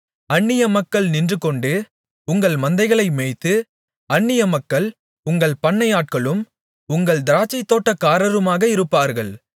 அந்நியமக்கள் நின்றுகொண்டு உங்கள் மந்தைகளை மேய்த்து அன்னியமக்கள் உங்கள் பண்ணையாட்களும் உங்கள் திராட்சைத்தோட்டக்காரருமாக இருப்பார்கள்